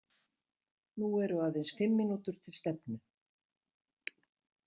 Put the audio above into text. Nú eru aðeins fimm mínútur til stefnu.